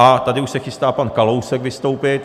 A tady už se chystá pan Kalousek vystoupit.